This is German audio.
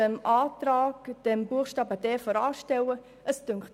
Zum Antrag, mit welchem Buchstabe d vorangestellt werden soll: